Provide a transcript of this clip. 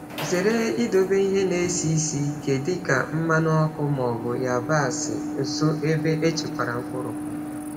Zere idobe ihe na-esi ísì ike dịka mmanụ ọkụ ma ọ bụ yabasị nso ebe echekwara mkpụrụ.